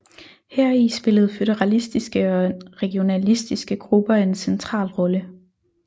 Heri spillede føderalistiske og regionalistiske grupper en central rolle